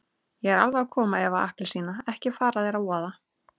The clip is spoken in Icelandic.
Ég er alveg að koma Eva appelsína, ekki fara þér að voða.